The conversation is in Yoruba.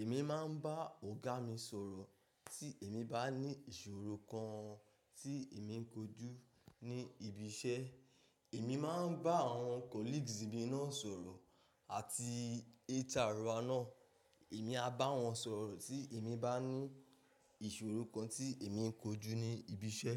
Èmi máa ń bá ọ̀gá mi sọ̀rọ̀ tí èmi bá ní ìṣòro kan tí èmi ń kojú ní ibi iṣẹ́. Èmi máa ń bá àwọn colleagues mi náà sọ̀rọ̀ àti HR náà èmi a bá wọn sọ̀rọ̀ tí èmi bá ní ìṣòro kan tí èmi ń kojú ní ibi iṣẹ́.